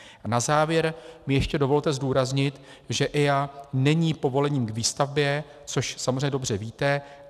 A na závěr mi ještě dovolte zdůraznit, že EIA není povolením k výstavbě, což samozřejmě dobře víte.